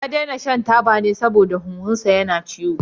Ya daina shan taba saboda huhunsa yana ciwo.